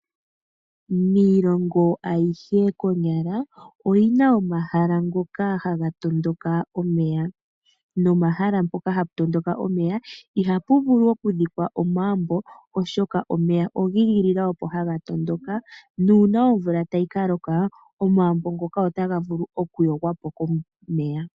Miilongo ayihe konyala oyina omahala ngoka haga tondoka omeya nopomaha mpaka hapu tondoka omeya ihapu vulu oku dhikwa omagumbo oshoka opo omeya giigilila okutondoka nuuna omvula tayi kaloka omaambo ngoka otaga vulu oku kungululwa po komeya.